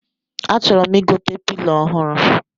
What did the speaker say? A chọrọ m igote pilo ọhụrụ